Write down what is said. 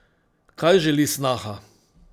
Kaj želi snaha?